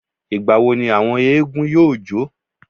Ìgbà wo ni àwọn éégún yóò jó?